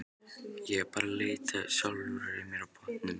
Ég er bara að leita að sjálfri mér á botninum.